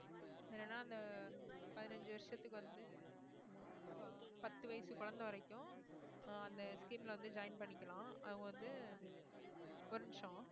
என்னனா அந்த பதினஞ்சு வருஷத்துக்கு வந்து அஹ் பத்து வயசு குழந்தை வரைக்கும் ஆஹ் அந்த scheme ல வந்து join பண்ணிக்கலாம் அவங்க வந்து ஒரு நிமிஷம்